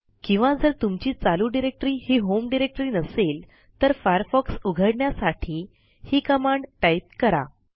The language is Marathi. किंवा जर तुमची चालू डिरेक्टरी ही होम डिरेक्टरी नसेल तर फायरफॉक्स उघडण्यासाठी ही कमांड टाईप करा